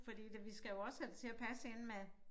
Fordi det vi skal jo også have det til at passe ind med